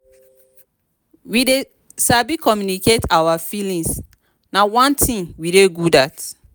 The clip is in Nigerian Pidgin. we dey sabi communicate our feelings na one thing we dey good at